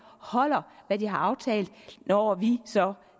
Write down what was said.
holder hvad de har aftalt når vi så